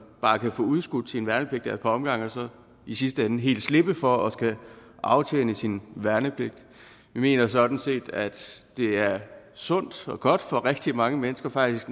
bare kan få udskudt sin værnepligt af et par omgange og så i sidste ende helt slippe for at skulle aftjene sin værnepligt vi mener sådan set at det er sundt og godt for rigtig mange mennesker faktisk